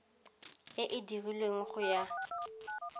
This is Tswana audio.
e e dirilweng go ya